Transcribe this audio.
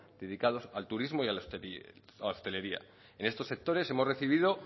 dedicados al turismo y a la hostelería en estos sectores hemos recibido